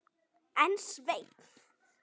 En Sveinn